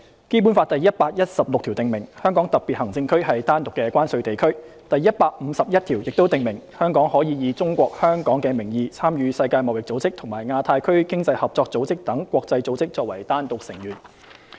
《基本法》第一百一十六條訂明，香港特別行政區是單獨的關稅地區；第一百五十一條亦訂明，香港可以"中國香港"的名義參與世界貿易組織和亞太區經濟合作組織等國際組織作為單獨成員。